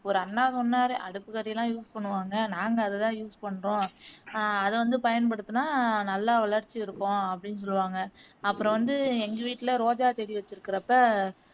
ஒரு அண்ணா சொன்னாரு அடுப்புகரியெல்லாம் use பண்ணுவாங்க நாங்க அதை தான் use பண்றோம் அஹ் அது வந்து பயன்படுத்துனா நல்லா வளர்ச்சி இருக்கும் அப்படின்னு சொல்லுவாங்க அப்பறம் வந்து எங்க வீட்டில ரோஜா செடி வச்சிருக்குறப்போ